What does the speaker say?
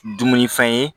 Dumunifɛn ye